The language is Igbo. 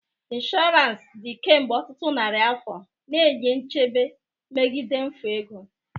Insurance dị kemgbe ọtụtụ narị afọ, na-enye nchebe megide mfu ego.